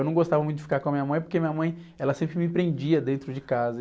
Eu não gostava muito de ficar com a minha mãe, porque a minha mãe, ela sempre me prendia dentro de casa.